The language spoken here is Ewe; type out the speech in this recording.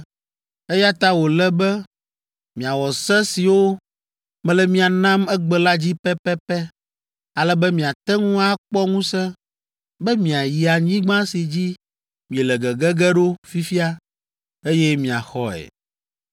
eya ta wòle be miawɔ se siwo mele mia nam egbe la dzi pɛpɛpɛ ale be miate ŋu akpɔ ŋusẽ be miayi anyigba si dzi miele gege ge ɖo fifia, eye miaxɔe.